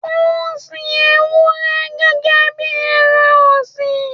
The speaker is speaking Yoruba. Ó ń sin Ewúrẹ́ gẹ́gẹ́ bí ẹran ọ̀sìn.